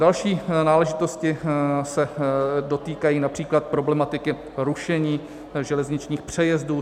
Další náležitosti se dotýkají například problematiky rušení železničních přejezdů.